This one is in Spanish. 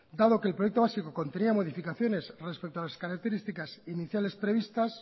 dado que el proyecto básico contenía modificaciones respecto a las características iniciales previstas